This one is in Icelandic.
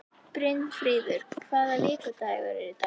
Brynfríður, hvaða vikudagur er í dag?